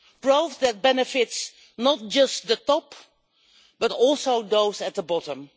growth that benefits not just the top, but also those at the bottom.